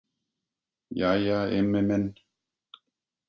Jæja Immi minn.